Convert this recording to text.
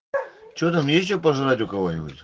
что там ещё пожрать у кого нибудь